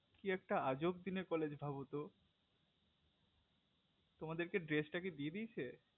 কি একটা আজব দিনে college ভাবতো তোমাদেরকে dress টা কি দিয়ে দিয়েছে